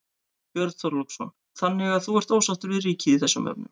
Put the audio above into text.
Björn Þorláksson: Þannig að þú ert ósáttur við ríkið í þessum efnum?